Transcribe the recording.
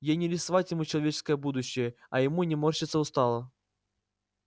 ей не рисовать ему человеческое будущее а ему не морщиться устало